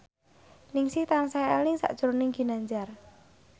Ningsih tansah eling sakjroning Ginanjar